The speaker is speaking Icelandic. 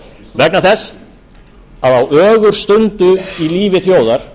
vegna þess að á ögurstundu í lífi þjóðar